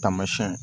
Taamasiyɛn